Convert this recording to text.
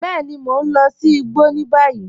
Bẹẹni, mọ̀ n lọ̀ sí ìgbọ́ ní báyìí.